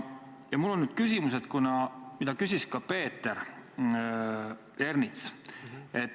Mul on nüüd küsimus, mida küsis ka Peeter Ernits.